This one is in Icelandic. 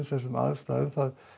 þessum aðstæðum það